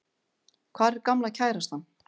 Hvar er gamla kærastan?